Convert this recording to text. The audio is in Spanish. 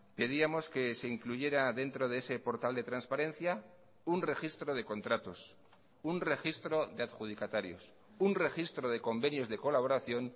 pedíamos que se incluyera dentro de ese portal de transparencia un registro de contratos un registro de adjudicatarios un registro de convenios de colaboración